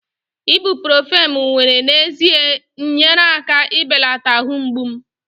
ibuprofen m were n'ezie nyeere aka ibelata ahụ mgbu m